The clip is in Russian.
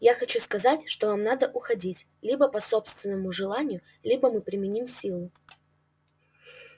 я хочу сказать что вам надо уходить либо по собственному желанию либо мы применим силу